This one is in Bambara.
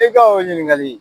I ka o ɲininkali